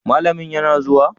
malamin yana zuwa?